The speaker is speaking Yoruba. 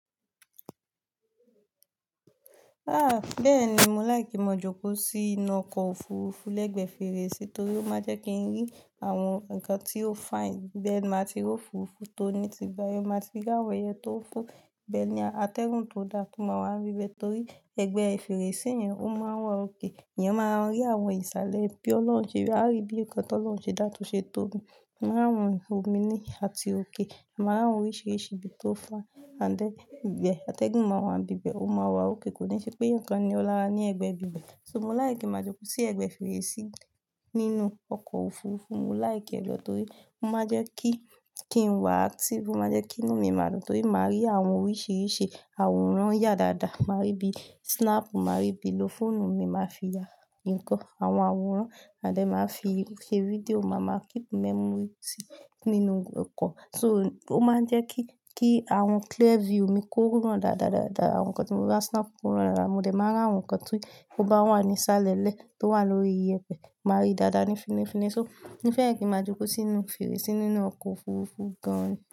Ah! Bẹ́ẹ̀ni, mo like kí máa jókòó sí inú ọkọ̀ òfurufú lẹ́gbẹ̀ẹ́ fèrèsé torí ó máa jẹ́ kí n rí àwọn ǹkan tí ó fine. Bẹ́ẹ̀ máa ti rò fùfú tó ní ti gba, ẹ má ti rí àwọn ẹyẹ tó ń fò. Bẹ́ẹ̀ ni atẹ́gùn tó da tó máa wà ní ibẹ̀ torí ẹgbẹ́ fèrèsé yẹn ó máa wà okay. Ìyẹn máa rí àwọn ìsàlẹ̀ bí Ọlọ́run jẹ, a rí bí ǹkan tí Ọlọ́run ṣe dá to ṣe tóbi. A máa rí omi ní àti òkè. A máa rí oríṣìíríṣìí ibi tó fine and then ibẹ̀ atẹ́gùn máa wà ní ibẹ̀, ó máa wà òkay Kò ní ṣe pé ǹkan ni ọ lára ní ẹgbẹ́ ibẹ̀. So mo láìkí ki n máa jókòó sí ẹgbẹ́ fèrèsé nínú ọkọ̀ òfurufú. Mo láì kí ẹ lọ torí ó máa jẹ́ kí, kí n wà active. Ó máa jẹ́ kí inú mi máa dùn torí màá rí àwọn oríṣìíríṣìí àwòrán ya dáadáa. Màá rí bí snap, màá rí bí ló fóònù mi, màá fi ya ǹkan, àwọn àwòrán and then màá fi ṣe fídíò, màá ma keep memory sí, nínú ọkọ̀. So ó máa ń jẹ́ kí, kí àwọn clear view mi kó rán dáadáadáadáà. Àwọn ǹkan tí mo bá snap kó rán dáadáa. Mo dẹ̀ máa rí àwọn ǹkan tí kò bá wà ní ìsàlẹ̀ lẹ́ẹ̀ tó wà lórí iyẹ̀pẹ̀. Màá rí dáadáa ni finifini. So mo fẹ́ kí máa jókòó sínú fèrèsé nínú ọkọ̀ òfurufú gan-an.